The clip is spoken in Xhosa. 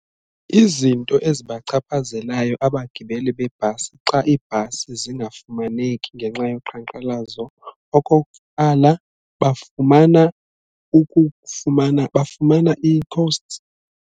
Izinto ezibachaphazelayo abagibeli bebhasi xa ibhasi zingafumaneki ngenxa yoqhankqalazo okokuqala bafumana ukufumana bafumana i-costs.